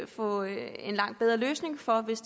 få en langt bedre løsning for hvis